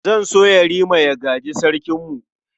Zan so Yarima ya gaji Sarkinmu.